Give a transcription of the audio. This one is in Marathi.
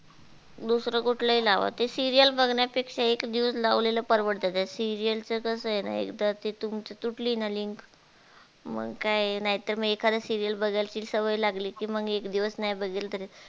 दुसर कुठलही लावा ते serial बघण्यापेक्षा एक news लावलेलं परवडत त्या serial च कसं हे ना एकदा तिथून ती तुटली ना link मग काय नाय तर एकादी serial बघाची सवय लागली कि मग एक दिवस नाई बगितली तर